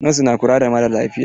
Nos na kula da maralafiya.